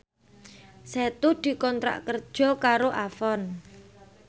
Setu dikontrak kerja karo Avon